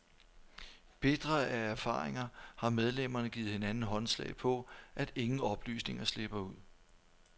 Bitre af erfaringer har medlemmerne givet hinanden håndslag på, at ingen oplysninger slipper ud.